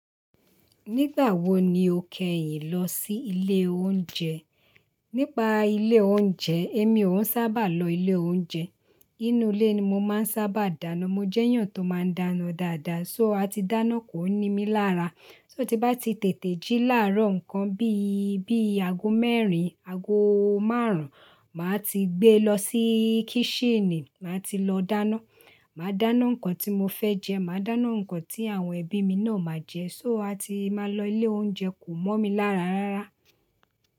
Nígbà wo ni o kẹ́yìn lọ sí ilé oúnjẹ? Nípa ilé oúnjẹ, èmi ò ún sábà lọ ilé oúnjẹ. Inú ilé ni mo máa ń sábà dáná. Mo jẹ́ èèyàn tó máa ń dáná dáadáa. So a ti dáná kò ní mí lára. So tí bá ti tètè jí láàárọ̀ nǹkan bí i, bí i ago mẹ́rin, ago márùn-ún, màá ti gbé lọ sí kíṣinì, màá ti lọ dáná. Màá dáná nǹkan tí mo fẹ́ jẹ, màá dáná nǹkan tí àwọn ẹbí mi náà máa jẹ. So a ti máa lọ ilé oúnjẹ kò mọ́ mi lára rárá.